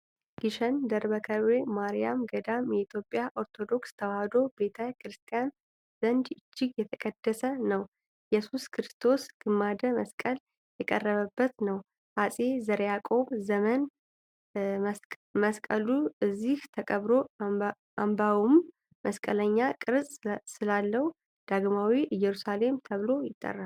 ግሸን ደብረ ከርቤ ማርያም ገዳም በኢትዮጵያ ኦርቶዶክስ ተዋሕዶ ቤተ ክርስቲያን ዘንድ እጅግ የተቀደሰ ነው። የኢየሱስ ክርስቶስ ግማደ መስቀል የተቀበረበት ነው። በአፄ ዘርዓ ያዕቆብ ዘመን መስቀሉ እዚህ ተቀብሮ፣ አምባውም መስቀለኛ ቅርጽ ስላለው “ዳግማዊት ኢየሩሳሌም” ተብሎ ይጠራል።